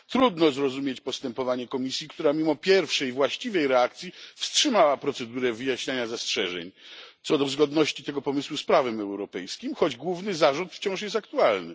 Trudno zrozumieć postępowanie Komisji, która pomimo pierwszej właściwej reakcji wstrzymała procedurę wyjaśniania zastrzeżeń co do zgodności tego pomysłu z prawem europejskim, choć główny zarzut wciąż jest aktualny.